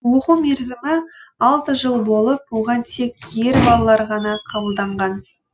оқу мерзімі алты жыл болып оған тек ер балалар ғана қабылданған